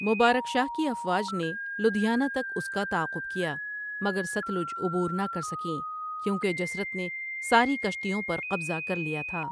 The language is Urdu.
مبارک شاہ کی افواج نے لدھیانہ تک اس کا تعاقب کیا مگر ستلج عبور نہ کر سکیں کیونکہ جسرت نے ساری کشتیوں پر قبضہ کر لیا تھا۔